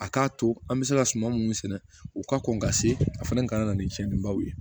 A k'a to an bɛ se ka suma minnu sɛnɛ u ka kɔn ka se a fɛnɛ ka na ni tiɲɛnibaw ye